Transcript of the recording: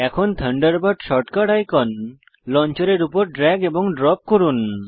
এখন Thunderbird shortcut icon লঞ্চারের উপর ড্র্যাগ এবং ড্রপ করুন